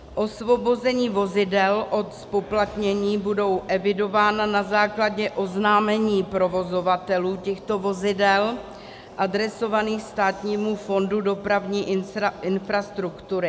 Osvobození vozidel od zpoplatnění budou evidována na základě oznámení provozovatelů těchto vozidel adresovaných Státnímu fondu dopravní infrastruktury.